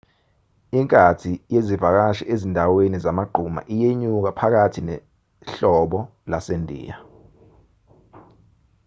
inkathi yezivakashi ezindaweni zamagquma iyenyuka phakathi nehlobo lasendiya